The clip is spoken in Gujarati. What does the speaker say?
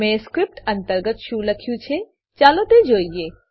મેં સ્ક્રીપ્ટ અંતર્ગત શું લખ્યું છે ચાલો તે જોઈએ